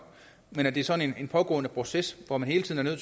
men at det er sådan en pågående proces hvor man hele tiden er